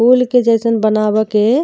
फूल के जईसन बनाव के --